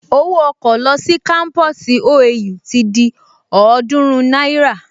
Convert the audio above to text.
Owó ọkọ̀ lọ sí kámpusi OAU ti di ọ̀ọ́dúrún náírà